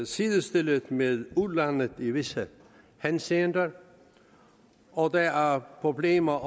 sidestillet med udlandet i visse henseender og der er problemer